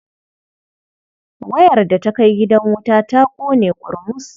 Wayar da ta kai gidan wuta ta ƙone ƙurmus.